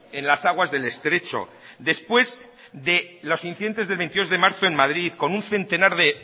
en las aguas del estrecho después de los incidentes del veintidós de marzo en madrid con un centenar de